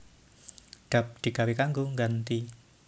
Dap digawé kanggo ngganti